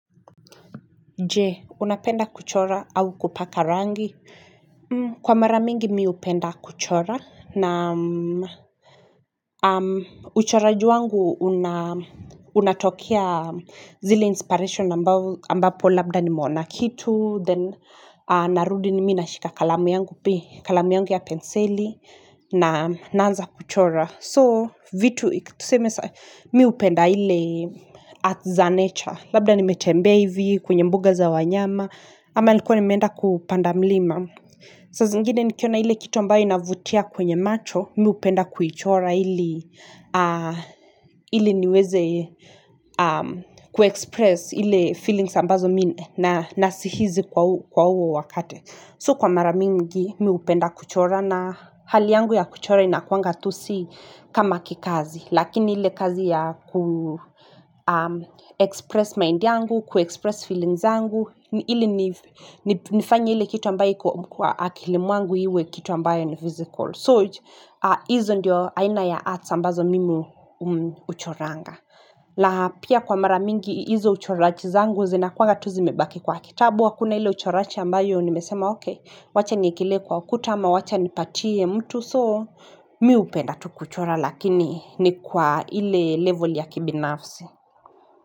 Je, unapenda kuchora au kupaka rangi. Kwa mara mingi mi hupenda kuchora. Na uchoraji wangu unatokea zile inspiration ambapo labda nimeona kitu. Then narudi ni mimi nashika kalamu yangu pi. Kalamu yangu ya penseli. Na naanza kuchora. So, vitu iki tuseme saa. Mi hupenda ile art za nature. Labda nimetembea hivi, kwenye mbuga za wanyama, ama nilikuwa nimeenda kupanda mlima. Saa zingine nikiona ile kitu ambayo inavutia kwenye macho, mi hupenda kuichora ili niweze kuexpress ile feelings ambazo mi nasihizi kwa uo wakati. So kwa mara mingi mi hupenda kuchora na hali yangu ya kuchora inakuanga tu si kama kikazi. Lakini ile kazi ya kuexpress mind yangu, kuexpress feelings zangu. Ili nifanye ile kitu ambayo iko kwa akili mwangu iwe kitu ambayo ni physical. So, hizo ndio aina ya arts ambazo mimi huchoranga. La pia kwa mara mingi hizo uchoraji zangu zinakuanga tu zimebaki kwa kitabu. Kwa kuna ile uchorachi ambayo nimesema okay, wacha niekelee kwa ukuta ama wacha nipatie mtu soo, mi hupenda tu kuchora lakini ni kwa ile level ya kibinafsi.